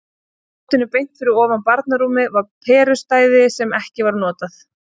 Í loftinu beint fyrir ofan barnarúmið var perustæði sem ekki var notað.